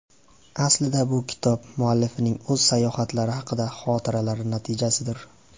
Aslida bu kitob muallifning o‘z sayohatlari haqidagi xotiralari natijasidir.